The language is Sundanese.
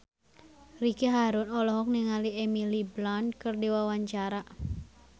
Ricky Harun olohok ningali Emily Blunt keur diwawancara